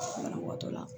Banabaatɔ la